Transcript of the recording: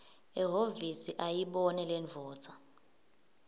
ehhovisi ayibone lendvodza